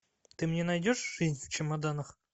ты мне найдешь жизнь в чемоданах